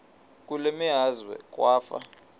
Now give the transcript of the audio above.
kule meazwe kwafa